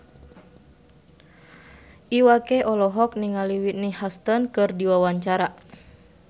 Iwa K olohok ningali Whitney Houston keur diwawancara